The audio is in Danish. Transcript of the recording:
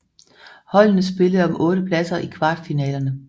Holdene spillede om otte pladser i kvartfinalerne